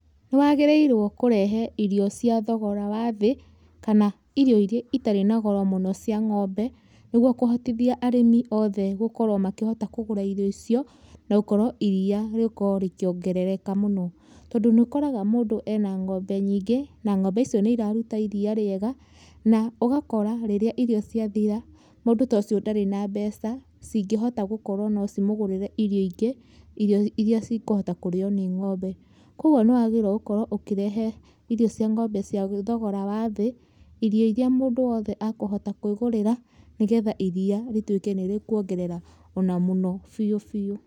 Nĩwagĩrĩirwo kũrehe irio cia thogora wa thĩ, kana irio iria itarĩ na goro mũno cia ngombe, nĩguo kũhotithia arĩmi othe gũkorwo makĩhota kũgũra irio icio, na gũkorwo iriia rĩkorwo rĩkiongerereka mũno, tondũ nĩũkoraga mũndũ ena ngombe nyingĩ na ng’ombe icio nĩiraruta iria rĩĩega, na ũgakora rĩrĩa irio ciathira, mũndũ ta ũcio ndarĩ na mbeca cingĩhota gũkorwo no cimũgũrĩre irio ingĩ, irio iria cikũhota kũrĩo nĩ ng'ombe. Koguo nĩwagĩrĩirwo gũkorwo ũkĩrehe irio cia ng'ombe cia thogora wa thĩ, irio iria mũndũ wothe akũhota kwĩgũrĩra, nĩgetha iriia rĩtuĩke nĩrĩkuongerera ona mũno biũ biũ.